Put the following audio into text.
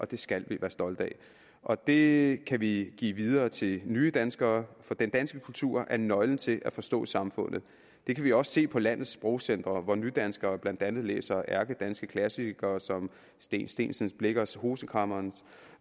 det skal vi være stolte af og det kan vi give videre til nye danskere for den danske kultur er nøglen til at forstå samfundet det kan vi også se på landenes sprogcentre hvor nydanskere blandt andet læser ærkedanske klassikere som steen steensen blichers roman hosekræmmeren